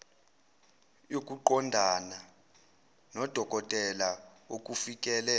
yokuqondana nodokotela okufikele